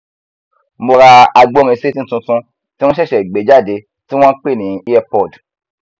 mo ra agbórisétí tuntun tí wọn ṣẹṣẹ gbé jáde tí wọn npè ní earpod